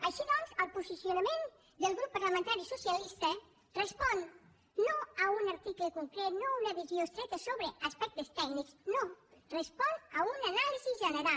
així doncs el posicionament del grup parlamentari socialista respon no a un arti·cle concret no a una visió estreta sobre aspectes tèc·nics no respon a una anàlisi general